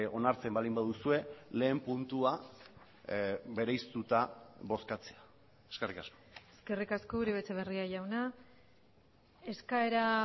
onartzen baldin baduzue lehen puntua bereiztuta bozkatzea eskerrik asko eskerrik asko uribe etxebarria jauna eskaera